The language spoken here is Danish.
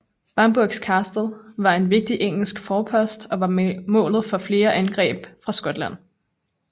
Bamburgh Castle var en vigtig engelsk forpost og var målet for flere angreb fra Skotland